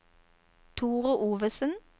Thore Ovesen